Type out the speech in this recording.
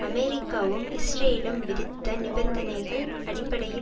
அமெரிக்காவும் இஸ்ரேலும் விதித்த நிபந்தனைகள் அடிப்படையில்